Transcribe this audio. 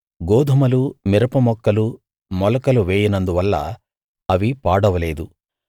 గోదుమలు మిరప మొక్కలు మొలకలు వేయనందువల్ల అవి పాడవలేదు